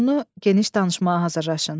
Məzmunu geniş danışmağa hazırlaşın.